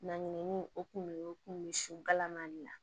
Na ɲinini o kun ye o kun bɛ sikalan na